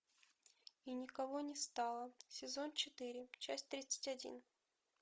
и никого не стало сезон четыре часть тридцать один